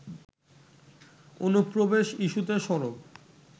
অনুপ্রবেশ ইস্যুতে সরব